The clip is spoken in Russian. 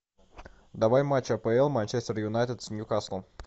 давай матч апл манчестер юнайтед с ньюкаслом